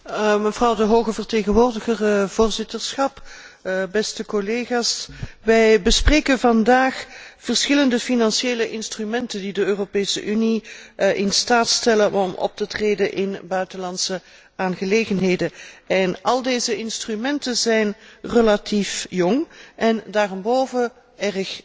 Hoge vertegenwoordiger, voorzitterschap, beste collega's, wij bespreken vandaag verschillende financiële instrumenten die de Europese Unie in staat stellen om op te treden in buitenlandse aangelegenheden. Al deze instrumenten zijn relatief jong, en daarenboven erg nieuw.